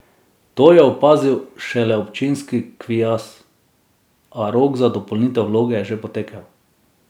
To je opazil šele občinski kviaz, a rok za dopolnitev vloge je že potekel.